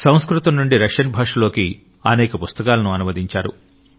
సంస్కృతం నుండి రష్యన్ భాషలోకి అనేక పుస్తకాలను అనువదించారు